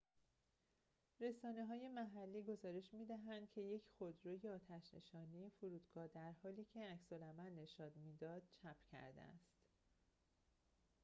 رسانه‌های محلی گزارش می‌دهند که یک خودروی آتش نشانی فرودگاه در حالی که عکس‌العمل نشان می‌داد چپ کرده است